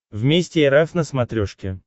вместе эр эф на смотрешке